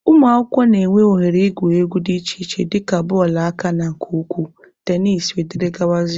Ụmụakwụkwọ na-enwe oghere igwu egwu dị iche iche dịka bọọlụ aka na nke ụkwụ, tenisi wdg.